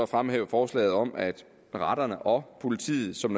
fremhæve forslaget om at retterne og politiet som